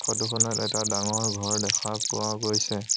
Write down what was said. ফটোখনত এটা ডাঙৰ ঘৰ দেখা পোৱা গৈছে।